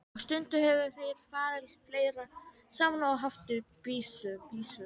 Og stundum höfðu þeir farið fleiri saman og haft byssu.